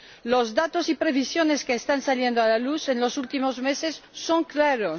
Los datos y previsiones que están saliendo a la luz en los últimos meses son claros.